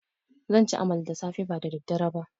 Zanci amala da safe ba da dare ba